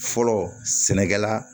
Fɔlɔ sɛnɛkɛla